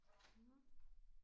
Nåh